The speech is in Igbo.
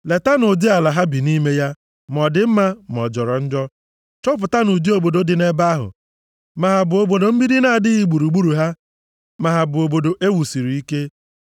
Letanụ ụdị ala ha bi nʼime ya, ma ọ dị mma ma ọ jọrọ njọ. Chọpụtanụ ụdị obodo dị nʼebe ahụ, ma ha bụ obodo mgbidi na-adịghị gburugburu ha, ma ha bụ obodo e wusiri ike.